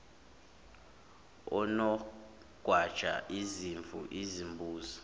onogwaja izimvu izimbuzi